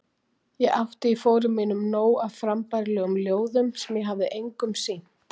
Ég átti í fórum mínum nóg af frambærilegum ljóðum sem ég hafði engum sýnt.